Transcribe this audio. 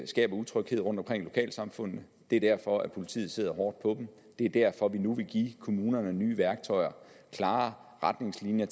skaber utryghed rundtomkring i lokalsamfundene det er derfor politiet sidder hårdt på dem det er derfor vi nu vil give kommunerne nye værktøjer klare retningslinjer